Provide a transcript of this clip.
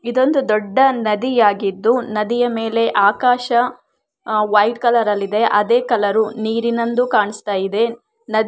ಇದೊಂದು ದೊಡ್ಡ ನದಿಯಾಗಿದ್ದು ನದಿಯ ಮೇಲೆ ಆಕಾಶ ವೈಟ್ ಕಲರ ಲ್ಲಿದೆ ಅದೇ ಕಲರ್ ನೀರಿನಲ್ಲೂ ಕಾಣಿಸ್ತಾ ಇದೆ ನದಿ ಪಕ್ಕದಲ್ಲಿ --